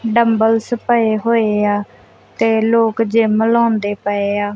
Dumbbells ਪਏ ਹੋਏ ਆ ਤੇ ਲੋਕ ਜਿਮ ਲਾਉਂਦੇ ਪਏ ਆ।